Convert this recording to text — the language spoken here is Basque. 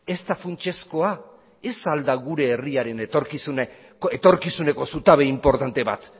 ez da funtsezkoa ez al da gure herriaren etorkizuneko zutabe inportante bat